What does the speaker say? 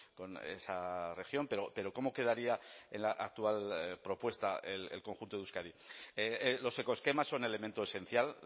con esa región pero cómo quedaría en la actual propuesta el conjunto de euskadi los ecoesquemas son elemento esencial